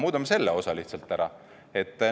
Muudame selle osa lihtsalt ära!